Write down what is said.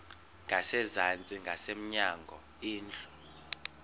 ngasezantsi ngasemnyango indlu